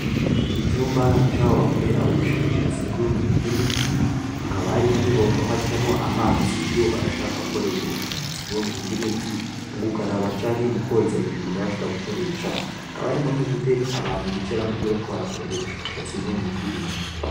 Icumba c'aho bakorera ubushakashatsi bwubumenyi bw''imiti, hakaba harimwo n,ibombo hacamwo amazi iyo bashaka gukora ubwo bushakashatsi bw'ubumenyi bw'imiti, mugukaraba canke mukwoza ibintu baba bashaka gukoresha, hakaba hariho n'udutebe abantu bicarako iyo bashaka gukora ubwo bushakashatsi bw'ubumenyi bw'ibintu.